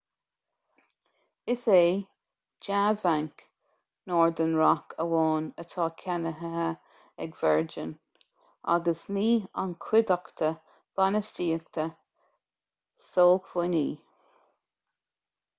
is é dea-bhanc' northern rock amháin atá ceannaithe ag virgin agus ní an chuideachta bainistíochta sócmhainní